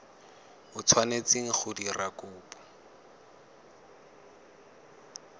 o tshwanetseng go dira kopo